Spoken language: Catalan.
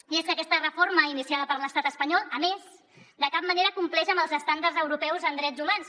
i és que aquesta reforma iniciada per l’estat espanyol a més de cap manera compleix amb els estàndards europeus en drets humans